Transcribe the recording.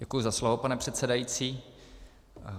Děkuji za slovo, pane předsedající.